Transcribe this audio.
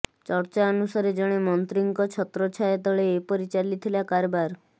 ଚର୍ଚ୍ଚା ଅନୁସାରେ ଜଣେ ମନ୍ତ୍ରୀଙ୍କ ଛତ୍ରଛାୟା ତଳେ ଏପରି ଚାଲିଥିଲା କାରବାର